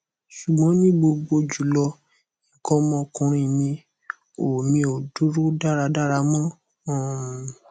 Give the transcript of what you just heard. ṣugbọn ni gbogbo julọ ikan ọmọ ọkunrin mi o mi o duro daradara mo um